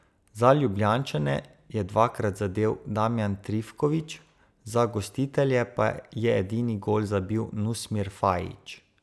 Za Ljubljančane je dvakrat zadel Damjan Trifkovič, za gostitelje pa je edini gol zabil Nusmir Fajić.